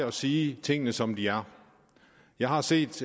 at sige tingene som de er jeg har set